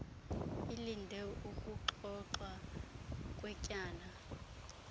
alinde ukuxoxwa kwetyala